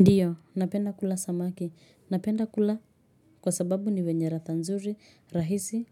Ndiyo, napenda kula samaki. Napenda kula kwa sababu ni wenye ladha nzuri, rahisi